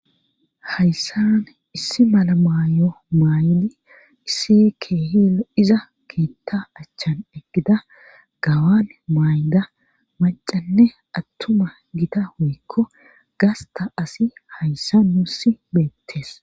Hayssan issi malamayo maaydi issi keehil iza kiitta achchan eggida gawan maayda macanne attuma gita hoykko gasta asi hayssa nuusi beettees